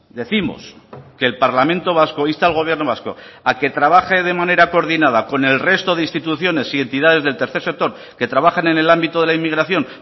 décimos que el parlamento vasco insta al gobierno vasco a que trabaje de manera coordinada con el resto de instituciones y entidades del tercer sector que trabajan en el ámbito de la inmigración